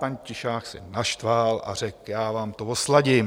Pan Tišák se naštval a řekl: Já vám to osladím.